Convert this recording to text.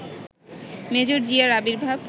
major জিয়ার আবির্ভাব